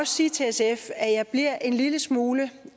sige til sf at jeg bliver en lille smule